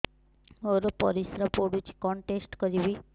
ମୋର ପରିସ୍ରା ପୋଡୁଛି କଣ ଟେଷ୍ଟ କରିବି